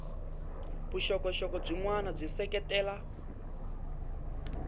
vuxokoxoko byin wana byi seketela